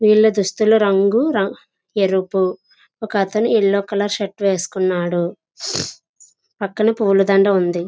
వీళ్ళ దుస్తులు రంగు రం ఎరుపు. ఒక అతను యెల్లో కలర్ షర్ట్ వేసుకున్నాడు. పక్కన పూల దండ ఉంది.